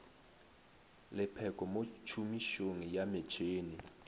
lepheko mo tšhomišong ya metšhene